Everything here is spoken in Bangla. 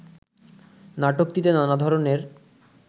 নাটকটিতে নানা ধরনের